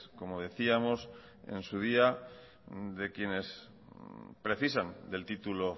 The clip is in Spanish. como decíamos en su día de quienes precisan del título